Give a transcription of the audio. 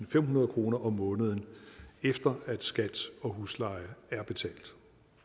og femhundrede kroner om måneden efter at skat og husleje er betalt